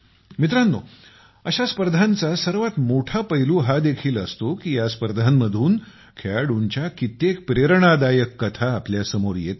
मित्रांनो अशा स्पर्धांचा सर्वात मोठा पैलू हा देखील असतो की या स्पर्धांमधून खेळाडूंच्या कित्येक प्रेरणादायक कथा आपल्यासमोर येतात